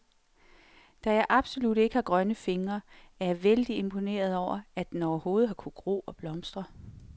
Da jeg absolut ikke har grønne fingre, er jeg vældig imponeret over, at den overhovedet har kunnet gro og blomstre.